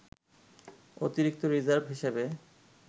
অতিরিক্ত রিজার্ভ হিসেবে